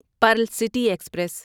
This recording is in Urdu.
Pearl city express